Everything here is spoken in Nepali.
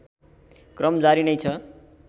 क्रम जारी नै छ